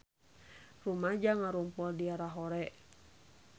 Rumaja ngarumpul di Lahore